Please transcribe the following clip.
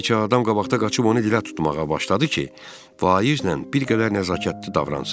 Bir neçə adam qabaqda qaçıb onu dilə tutmağa başladı ki, Vaizlə bir qədər nəzakətli davransın.